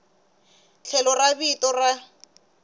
tlhelo ra vito ra n